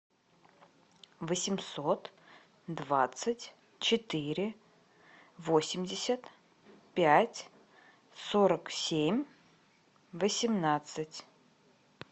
восемьсот двадцать четыре восемьдесят пять сорок семь восемнадцать